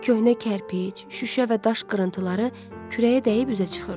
Köhnə kərpic, şüşə və daş qırıntıları kürəyə dəyib üzə çıxırdı.